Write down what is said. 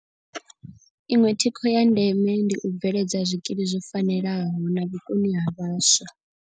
Iṅwe thikho ya ndeme ndi u bveledza zwikili zwo fanelaho na vhukoni ha vhaswa.